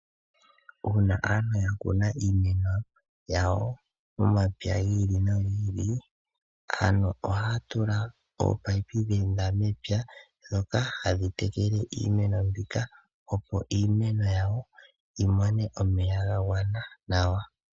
Uuna aantu ya kuna iimeno yawo momapya gi ili nogi ili, aantu ohaa tula oopayipi dheenda mepya dhoka hadhi tekele iimeno mbika, opo iimeno yawo yi mone omeya ga gwana nawa.